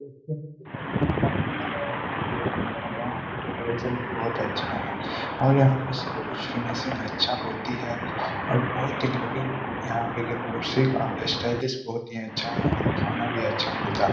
यहाँ पे डेकोरैशन भी बोहोत अच्छा है और यहाँ पे सब कुछ फिनिशिंग अच्छा होती है और बोहोत ही लूकिंग यहाँ पे एक ये कुर्सी बोहोत ही अच्छा है। यहां खाना भी अच्छा मिलता है।